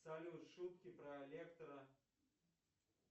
салют шутки про лектора